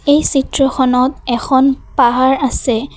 এই চিত্ৰখনত এখন পাহাৰ আছে।